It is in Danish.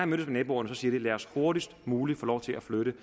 med naboerne siger de lad os hurtigst muligt få lov til at flytte